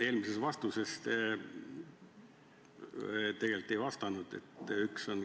Eelmise vastusega te tegelikult ei vastanud.